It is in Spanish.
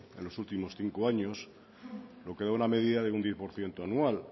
en los últimos cinco años lo que da una media de un diez por ciento anual